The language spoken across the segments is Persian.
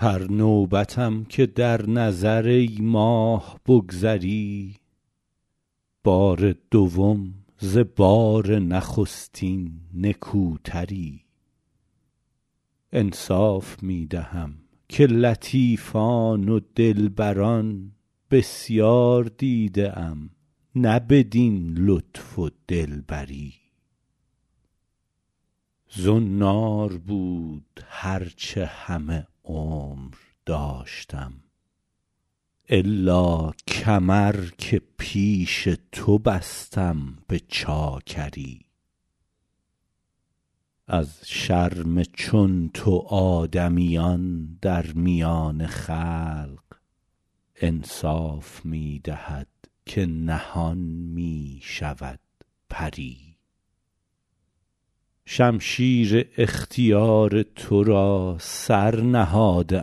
هر نوبتم که در نظر ای ماه بگذری بار دوم ز بار نخستین نکوتری انصاف می دهم که لطیفان و دلبران بسیار دیده ام نه بدین لطف و دلبری زنار بود هر چه همه عمر داشتم الا کمر که پیش تو بستم به چاکری از شرم چون تو آدمیان در میان خلق انصاف می دهد که نهان می شود پری شمشیر اختیار تو را سر نهاده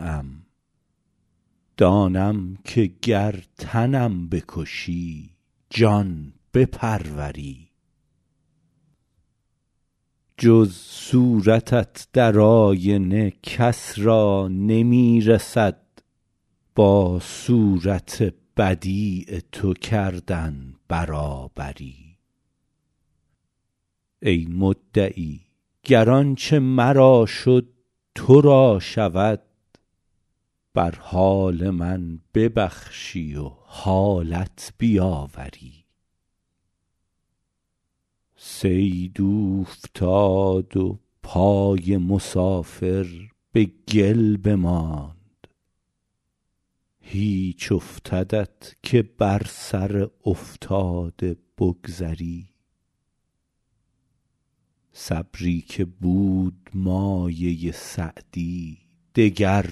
ام دانم که گر تنم بکشی جان بپروری جز صورتت در آینه کس را نمی رسد با صورت بدیع تو کردن برابری ای مدعی گر آنچه مرا شد تو را شود بر حال من ببخشی و حالت بیاوری صید اوفتاد و پای مسافر به گل بماند هیچ افتدت که بر سر افتاده بگذری صبری که بود مایه سعدی دگر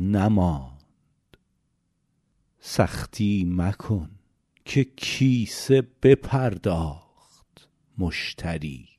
نماند سختی مکن که کیسه بپرداخت مشتری